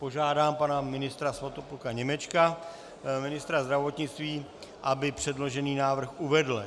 Požádám pana ministra Svatopluka Němečka, ministra zdravotnictví, aby předložený návrh uvedl.